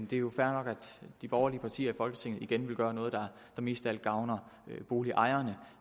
det er jo fair nok at de borgerlige partier i folketinget igen vil gøre noget der mest af alt gavner boligejerne